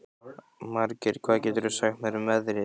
Margeir, hvað geturðu sagt mér um veðrið?